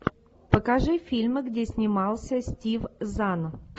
покажи фильмы где снимался стив зан